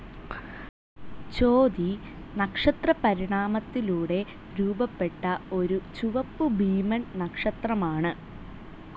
ചോതി നക്ഷത്രപരിണാമത്തിലൂടെ രൂപപ്പെട്ട ഒരു ചുവപ്പുഭീമൻ നക്ഷത്രമാണ്.